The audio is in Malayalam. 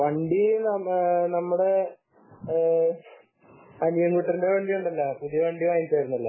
വണ്ടി നമ്മുടെ അണിയൻകുട്ടന്റെ വണ്ടിയുണ്ടല്ലോ പുതിയ വണ്ടി വാങ്ങിച്ചിട്ടുണ്ടായിരുന്നല്ലോ